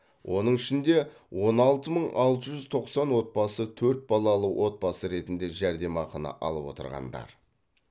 оның ішінде он алты мың алты жүз тоқсан отбасы төрт балалы отбасы ретінде жәрдемақыны алып отырғандар